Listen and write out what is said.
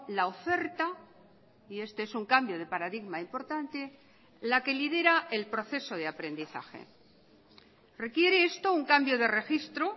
la oferta y este es un cambio de paradigma importante la que lidera el proceso de aprendizaje requiere esto un cambio de registro